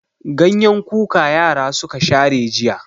Ganyen kuka yara suka share jiya.